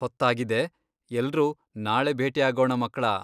ಹೊತ್ತಾಗಿದೆ! ಎಲ್ರೂ ನಾಳೆ ಭೇಟಿಯಾಗೋಣ, ಮಕ್ಳಾ!